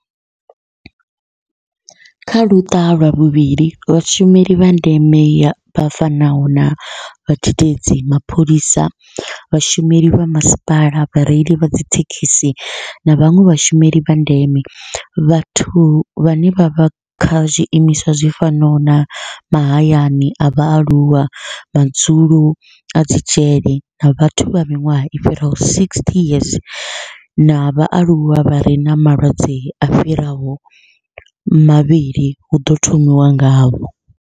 Kha luṱa lwa vhuvhili, Vhashumeli vha ndeme vha fanaho na vhadededzi, mapholisa, vhashumeli vha masipala, vhareili vha dzithekhisi na vhanwe vhashumeli vha ndeme vhathu vhane vha vha kha zwiimiswa zwi fanaho na mahayani a vhaaluwa, madzulo na dzi dzhele na vhathu vha miṅwaha i fhiraho 60 na vhaaluwa vha re na malwadze a fhiraho mavhili hu ḓo thomiwa ngavho.